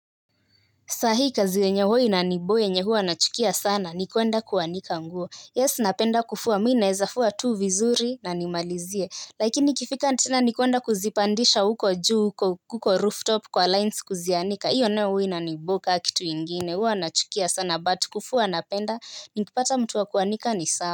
Sahii kazi yenye huwa inaniboo yenye huwa nachukia sana ni kuenda kuanika nguo yes napenda kufua mii naeza fua tu vizuri na nimalizie lakini ifika tena ni kuenda kuzipandisha huko juu huko huko rooftop kwa lines kuzianika hiyo nayo huwa inaniboo ka kitu ingine huwa nachukia sana but kufua napenda nikipata mtu wa kuanika ni sawa.